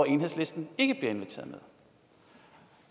enhedslisten ikke bliver inviteret med